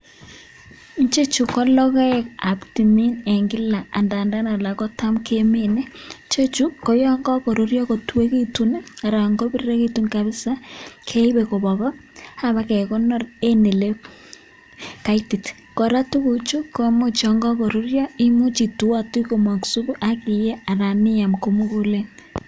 Icheju ko logoekab timin en kila angadan alak kotam kemine. Icheju koyon kokururyo kutuekitun anan kobiriregitun kabisa, keibe kobwa go ak kiba kegonor en ele kaitit. Kora tuguchu kumuch yon kogoruryo, imuch ituotui komong supu ak iyee anan iam ko mugulen.